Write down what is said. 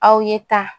Aw ye taa